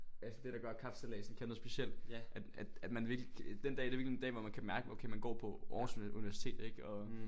Er det der gør kapsejladsen kan noget specielt at at at man virkelig den dag det er virkelig en dag hvor man kan mærke okay man går på Aarhus Universitet ik og